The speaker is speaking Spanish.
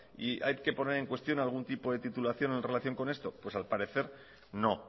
y hay que poner en cuestión algún tipo de titulación en relación con esto pues al parecer no